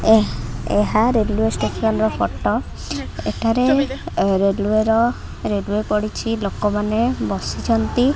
ଏ ଏହା railway station ର ଫଟ । ଏଠାରେ ରେଲୱେ ର ରେଲୱେ ପଡ଼ିଛି‌। ଲୋକମାନେ ବସିଛନ୍ତି।